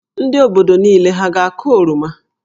Ndị obodo niile hà a ga-akụ oroma?